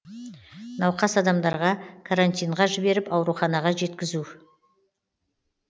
науқас адамдарға карантинға жіберіп ауруханаға жеткізу